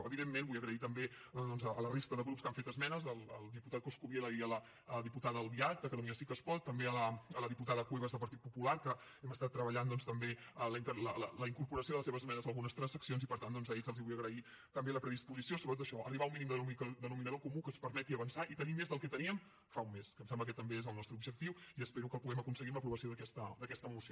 evidentment vull donar les gràcies també a la resta de grups que han fet esmenes al diputat coscubiela i a la diputada albiach de catalunya sí que es pot també a la diputada cuevas del partit popular que hem estat treballant també la incorporació de les seves esmenes a algunes transaccions i per tant doncs a ells els vull agrair també la predisposició sobretot a això a arribar a un mínim denominador comú que ens permeti avançar i tenir més del que teníem fa un mes que em sembla que també és el nostre objectiu i espero que el puguem aconseguir amb l’aprovació d’aquesta moció